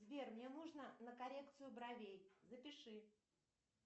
сбер мне нужно на коррекцию бровей запиши